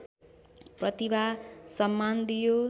प्रतिभा सम्मान दियो